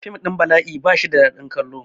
Fim ɗin bala'i ba shi da dadin kallon